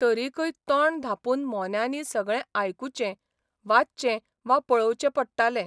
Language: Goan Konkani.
तरिकय तोंड धांपून मोन्यांनी सगळें आयकुचें, वाचचें वा पळोवचें पडटालें.